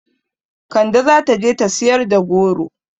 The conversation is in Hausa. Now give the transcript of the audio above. Kande zata je ta siyar da goro